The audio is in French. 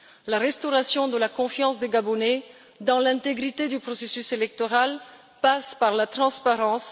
La restauration de la confiance des Gabonais dans l'intégrité du processus électoral passe par la transparence.